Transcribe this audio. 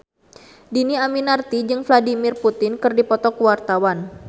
Dhini Aminarti jeung Vladimir Putin keur dipoto ku wartawan